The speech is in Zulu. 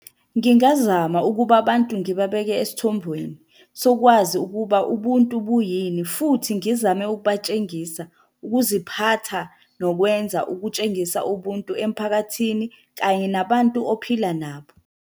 Ngingazama ukuba abantu ngibabeke esithombweni sokwazi ukuba ubuntu buyini, futhi ngizame ukubatshengisa ukuziphatha nokwenza ukutshengisa ubuntu emphakathini kanye nabantu ophila nabo.